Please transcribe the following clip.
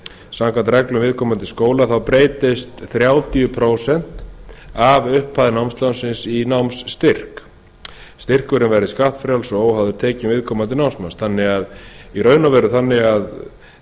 samkvæmt reglum viðkomandi skóla breytist þrjátíu prósent af upphæð námslánsins í námsstyrk styrkurinn verði skattfrjáls og óháður tekjum viðkomandi námsmanns þannig í raun og veru að